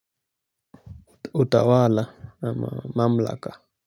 Utawala ama mamlaka.